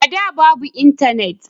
A da babu intanet